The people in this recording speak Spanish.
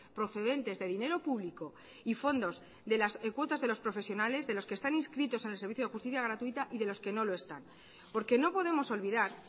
procedentes de dinero público y fondos de las cuotas de los profesionales de los que están inscritos en el servicio de justicia gratuita y de los que no lo están porque no podemos olvidar